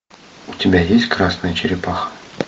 у тебя есть красная черепаха